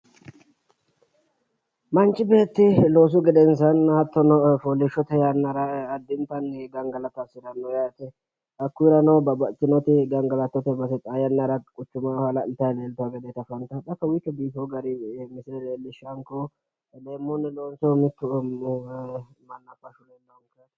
Manchi beetti loosu gedensaannino hattono fooliishshote yannara addintanni gangalata hasiranno yaate. Hakkuyirano babbaxxitinoti gangalatote base xaa yannara guchumaho halaźlitayi leeltawo gedeeti afantaahu. Xa kowiicho biifiwo garinni misile leellishshawonkehu. Leemmunni loonsoonnihu mittu mannaffashu leellawo yaate.